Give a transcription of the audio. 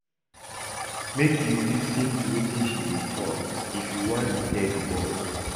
Make you lis ten to wetin she dey tok if you wan repair di bond.